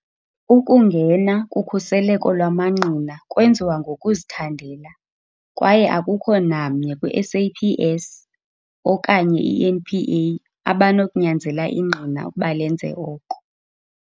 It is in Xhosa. Ukungena kukhuseleko lwamangqina kwenziwa ngokuzithandela, kwaye akukho namnye kwi-SAPS okanye i-NPA abanokunyanzela ingqina ukuba lenze oko.